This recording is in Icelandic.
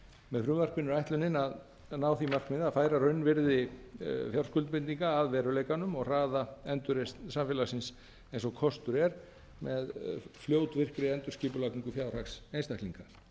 með frumvarpinu er ætlunin að ná því markmiði að færa raunvirði fjárskuldbindinga að veruleikanum og hraða endurreisn samfélagsins eins og kostur er með fljótvirkri endurskipulagningu fjárhags einstaklinga